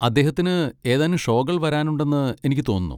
അദ്ദേഹത്തിന് ഏതാനും ഷോകൾ വരാനുണ്ടെന്ന് എനിക്ക് തോന്നുന്നു.